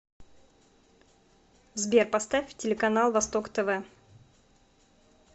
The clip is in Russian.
сбер поставь телеканал восток тв